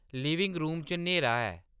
living room च न्हेरा ऐ